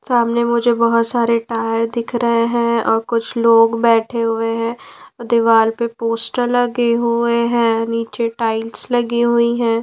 सामने मुझे बहुत सारे टायर दिख रहे हैंऔर कुछ लोग बैठे हुए हैं दीवार पे पोस्टर लगे हुए हैं नीचे टाइल्स लगी हुई हैं।